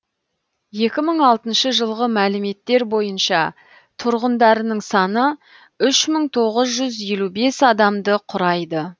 екі мың алтыншы жылғы мәліметтер бойынша тұрғындарының саны үш мың тоғыз жүз елу бес адамды құрайды